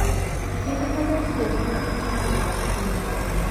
Kinde ma dongruok ne ochako loko piny.